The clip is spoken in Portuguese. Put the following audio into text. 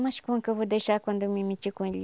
Mas como que eu vou deixar quando eu me meti com ele?